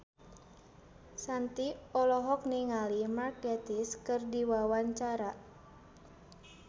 Shanti olohok ningali Mark Gatiss keur diwawancara